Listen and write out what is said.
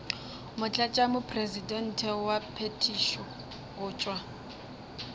motlatšamopresidente wa phethišo go tšwa